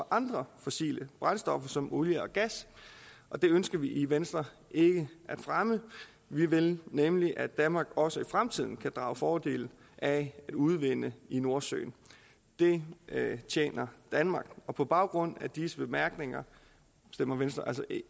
andre fossile brændstoffer som olie og gas og det ønsker vi i venstre ikke at fremme vi vil nemlig at danmark også i fremtiden kan drage fordel af at udvinde i nordsøen det tjener danmark på baggrund af disse bemærkninger stemmer venstre altså